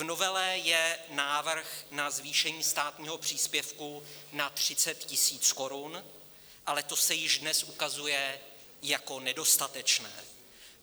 V novele je návrh na zvýšení státního příspěvku na 30 000 korun, ale to se již dnes ukazuje jako nedostatečné.